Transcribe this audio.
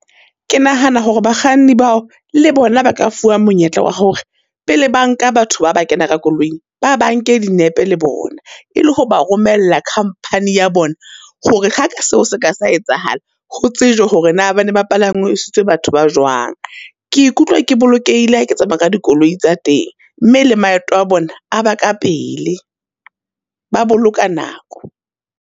Ke nahana hore bakganni bao, le bona ba ka fuwa monyetla wa hore pele ba nka batho ba ba kena ka koloing, ba ba nke dinepe le bona. E le ho ba romella vompany ya bona, hore ha ka seo se ka sa etsahala, ho tsejwe hore na ba ne bapalangisitswe batho ba jwang. Ke ikutlwa ke bolokehile ha ke tsamaya ka dikoloi tsa teng, mme la maeto a bona aba ka pele, ba boloka nako.